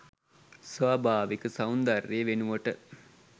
ස්වභාවික සෞන්දර්යය වෙනුවට